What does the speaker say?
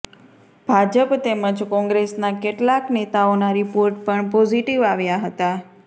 ભાજપ તેમજ કોંગ્રેસના કેટલાક નેતાઓના રિપોર્ટ પણ પોઝિટિવ આવ્યા હતા